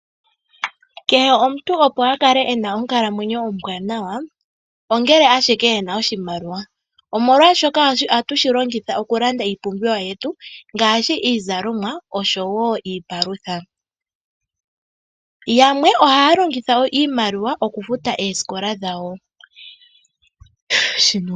Kehe omuntu opo a kale e na onkalamwenyo ombwaanawa ongele ashike e na oshimaliwa, omolwaashoka ohatu shi longitha oku landa iipumbiwa yetu ngaashi iizalomwa oshowo iipalutha, yamwe ohaya longitha wo iimaliwa oku futa oosikola dhawo.